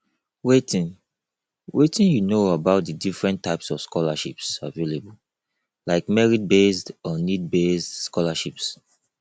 wetin wetin you know about di different types of scholarships available like meritbased or needbased scholarships